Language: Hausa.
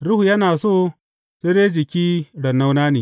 Ruhu yana so, sai dai jiki raunana ne.